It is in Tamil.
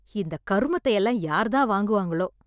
இந்தக் கருமத்தையெல்லாம் யாரு தான் வாங்குவாங்களோ!